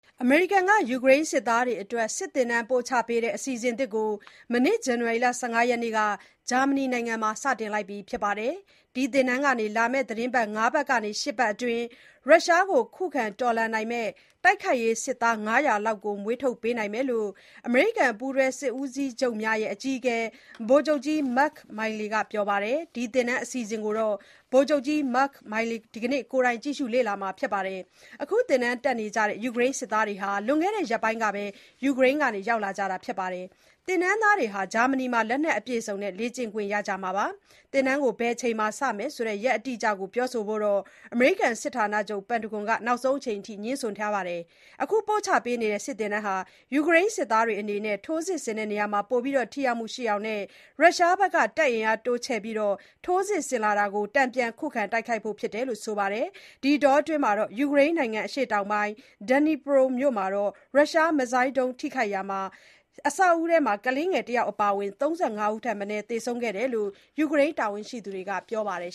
အမေရိကန်က ယူကရိန်းစစ်သားတွေအတွက် စစ်သင်တန်းပို့ချပေးတဲ့ အစီအစဉ်အသစ်ကို မနေ့ ဇန်နဝါရီလ ၁၅ ရက်နေ့က ဂျာမနီနိုင်ငံမှာ စတင်လိုက်ပါပြီ။ ဒီသင်တန်းကနေ လာမယ့် သီတင်းပတ် ၅ ပတ်ကနေ ၈ ပတ်အတွင်း ရုရှားကို ခုခံတော်လှန်နိုင်မယ့် တိုက်ခိုက်ရေးစစ်သား ၅၀၀ လောက် မွေးထုတ်ပေးနိုင်မယ်လို့ အမေရိကန်ပူးတွဲစစ်ဦးစီးချုပ်များရဲ့ အကြီးအကဲ ဗိုလ်ချုပ်ကြီး Mark Miley က ပြောပါတယ်။ ဒီသင်တန်း အစီအစဉ်ကို ဗိုလ်ချုပ်ကြီး Mark Miley ဒီကနေ့ ကိုယ်တိုင် ကြည့်ရှု လေ့မှာ ဖြစ်ပါတယ်။ အခုသင်တန်းတက်နေကြတဲ့ ယူကရိန်းစစ်သားတွေဟာ လွန်ခဲ့တဲ့ ရက်ပိုင်းကဘဲ ယူကရိန်းကနေ ရောက်လာကြတာလို့ ဆိုပါတယ်။ သင်တန်းသားတွေဟာ ဂျာမနီမှာ လက်နက်အပြည့်အစုံနဲ့ လေ့ကျင့်ခွင့်ရကြမှာပါ။ သင်တန်းကို ဘယ်အချိန်မှာစမယ်ဆိုတဲ့ ရက်အတိအကျကို ပြောဆိုဖို့ အမေရိကန်စစ်ဌာနချုပ် ပင်တာဂွန်က နောက်ဆုံးအချိန်ထိ ငြင်းဆိုနေခဲ့တာပါ။ အခုပို့ချပေးနေတဲ့ စစ်သင်တန်းဟာ ယူကရိန်းစစ်သားတွေအနေနဲ့ ထိုးစစ်ဆင်တဲ့နေရာမှာ ပိုပြီး ထိရောက်မှုရှိအောင်နဲ့ ရုရှားဘက်က တပ်အင်အားတိုးမြင့်ပြီး ထိုးစစ်ဆင်လာတာကို တန်ပြန် ခုခံ တိုက်ခိုက်ဖို့ဖြစ်တယ်လို့ ဆိုပါတယ်။ ဒီအတောအတွင်း ယူကရိန်းနိုင်ငံ အရှေ့တောင်ပိုင်း ဒီနီပရို မြို့က ရုရှားမစ်ဇိုင်းဒုံး ထိမှန်ရာက အဆောက်အဦထဲမှာ ကလေးတယောက် အပါအဝင် ၃၅ ဦးထက်မနည်း သေဆုံးခဲ့တယ်လို့ ယူကရိန်း တာဝန်ရှိသူတွေက ပြောပါတယ်